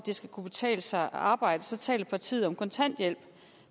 det skal kunne betale sig at arbejde så taler partiet om kontanthjælp